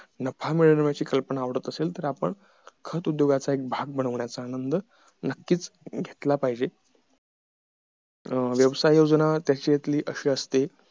नफा मिळवण्याची कल्पना आवडत असेल तर आपण खत उद्योगाचा एक भाग बनवण्याचा आनंद नक्कीच घेतला पाहिजे अं व्यवसाय योजना त्याच्यातील अशी असते